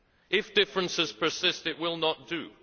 If differences persist, it will not do.